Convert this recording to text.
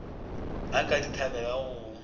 a ka di thabelago go